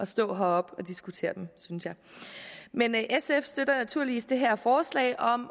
stå heroppe og diskutere dem synes jeg men sf støtter naturligvis det her forslag om